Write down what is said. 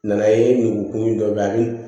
Nana ye u kun dɔ bɛ a bi